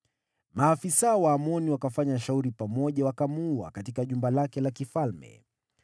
Watumishi wa Amoni wakafanya fitina juu yake, nao wakamuulia kwake nyumbani.